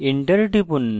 enter টিপুন